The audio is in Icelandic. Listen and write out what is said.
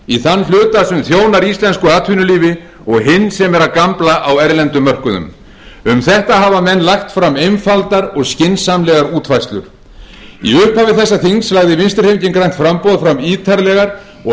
í þann hluta sem þjónar íslensku atvinnulífi og hinn sem er að gambla á erlendum mörkuðum um þetta hafa menn lagt fram einfaldar og skynsamlegar útfærslur í upphafi þessa þings lagði vinstri hreyfingin grænt framboð fram ítarlegar og